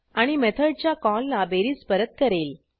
आणि मेथडच्या कॉलला बेरीज परत करेल